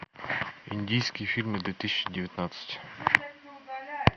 индийские фильмы две тысячи девятнадцать